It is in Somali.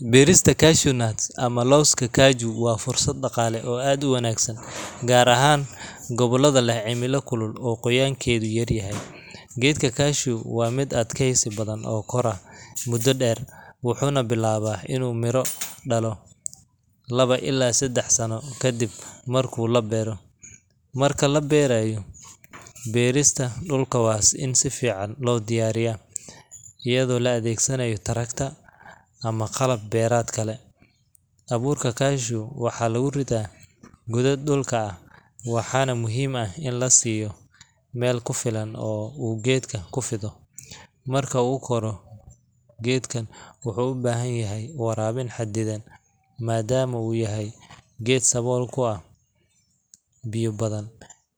Beerista cashew nuts ama looska gashu waa fursad daqaale oo aad uwanagsan, gaar ahaan gobolada leh cimila kulul oo qoyaankeeda yar yahay, geedka gashu waa mid adkeesi badan oo kora muda deer, wuxuuna bilaaba inuu mira dalo labo ilaa sadex Sano kadib markuu labeero, marki labeerayo, beerista dulka waa in sifican loo diyaariya, ayado la adeegsanaayo tractor ama qalab beeradka leh, abuurka gashu waxaa lagu ridaa godod dulka ah waxaana muhiim ah in la siiyo meel kufilan oo uu geedka kufido, marka uu koro geedka wuxuu ubahan yahay waraabin xadidan madaama uu yahay geed sabool ku ah biyo badan,